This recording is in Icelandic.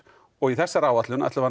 og í þessari áætlun ætlum við